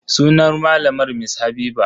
Sunan malamar Mrs Habiba.